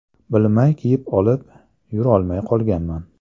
Bilmay kiyib olib, yurolmay qolganman.